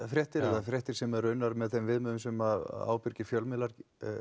fréttir eða fréttir sem eru unnar með þeim viðmiðum sem ábyrgir fjölmiðlar